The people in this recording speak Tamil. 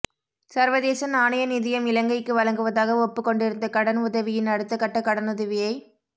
சர்வதேச நாணய நிதியம் இலங்கைக்கு வழங்குவதாக ஒப்புக்கொண்டிருந்த கடன் உதவியின் அடுத்தகட்ட கடனுதவியை வழங